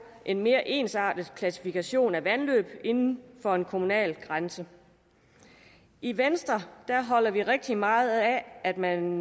en mere ensartet klassifikation af vandløb inden for en kommunegrænse i venstre holder vi rigtig meget af at man